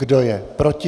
Kdo je proti?